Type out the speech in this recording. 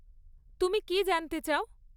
তুমি কী জানতে চাও?